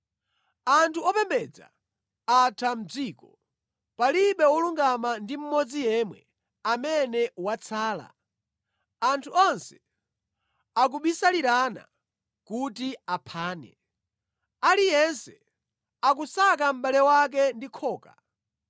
Anthu opembedza atha mʼdziko; palibe wolungama ndi mmodzi yemwe amene watsala. Anthu onse akubisalirana kuti aphane; aliyense akusaka mʼbale wake ndi khoka.